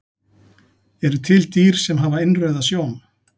Eru til dýr sem hafa innrauða sjón?